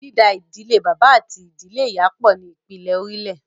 Dída ìdílé bàbá àti ìdílé ìyá pọ̀” ni ìpìlè orílẹ̀